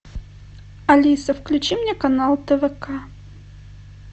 алиса включи мне канал твк